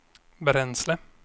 bränsle